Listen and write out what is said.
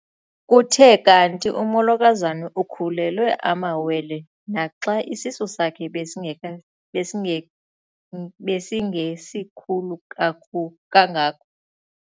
Kuthe kanti umolokazana ukhulelwe amawele naxa isisu sakhe besingesikhulu kangako.